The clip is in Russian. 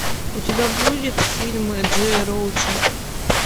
у тебя будет фильмы джея роуча